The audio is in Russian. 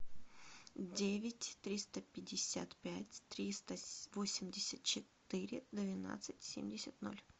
девять триста пятьдесят пять триста восемьдесят четыре двенадцать семьдесят ноль